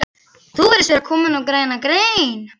Þú virðist vera kominn á græna grein